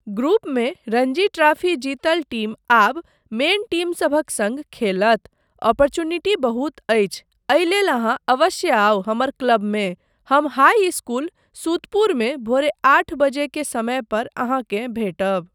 ग्रुपमे रणजी ट्राफी जीतल टीम आब मेन टीमसभक सङ्ग खेलत। ओपोर्च्युनिटी बहुत अछि, एहि लेल अहाँ अवश्य आउ हमर क्लबमे। हम हाइ इस्कूल, सुतपुरमे भोरे आठ बजे के समय पर अहाँकेँ भेटब।